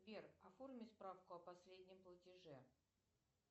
сбер оформи справку о последнем платеже